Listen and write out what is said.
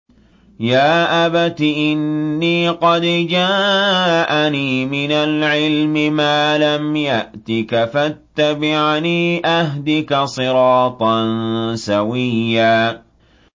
يَا أَبَتِ إِنِّي قَدْ جَاءَنِي مِنَ الْعِلْمِ مَا لَمْ يَأْتِكَ فَاتَّبِعْنِي أَهْدِكَ صِرَاطًا سَوِيًّا